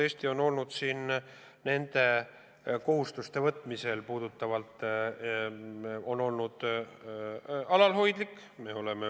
Eesti on nende kohustuste võtmisel alalhoidlik olnud.